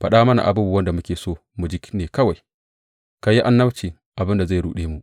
Faɗa mana abubuwan da muke so mu ji ne kawai, ku yi annabcin abin da zai ruɗe mu.